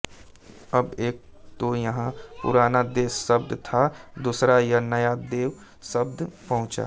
अब एक तो यहाँ पुराना देव शब्द था दूसरा यह नया देव शब्द पहुंचा